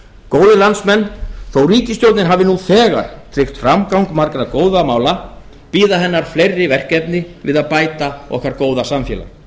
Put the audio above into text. góðir landsmenn þó að ríkisstjórnin hafi nú þegar tryggt framgang margra góðra mála bíða hennar fleiri verkefni við að bæta okkar góða samfélag